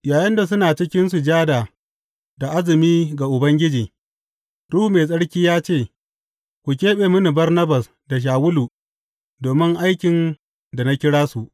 Yayinda suna cikin sujada da azumi ga Ubangiji, Ruhu Mai Tsarki ya ce, Ku keɓe mini Barnabas da Shawulu domin aikin da na kira su.